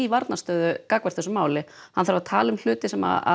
varnarstöðu gagnvart þessu máli hann þarf að tala um hluti sem